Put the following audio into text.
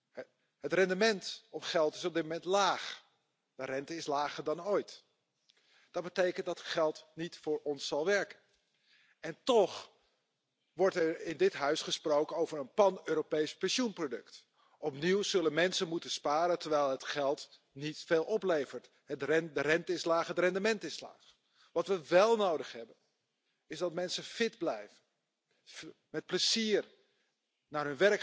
Señora presidenta, señor comisario, quiero expresar mi compromiso con los sistemas públicos, universales y dignos de seguridad social, que son expresiones de solidaridad intergeneracional. Por eso, su viabilidad está amenazada, para empezar, por el declive demográfico de la Unión. Este es un problema tan grave y notorio que ahora mismo necesita una política más inteligente y abierta de inmigración e integración de personas, que deben ser, a todos los efectos, nuevos europeos. La precariedad laboral